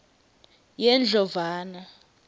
yendlovana